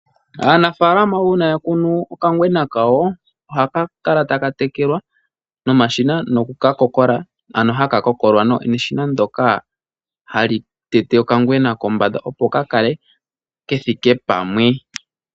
Aanafaalama uuna yakunu okangwena kawo ohaka kala taka tekelwa nomashina nokukakokola, ano haka kokolwa neshina ndjoka hali tete okangwena kombanda opo kakale kethike pamwe.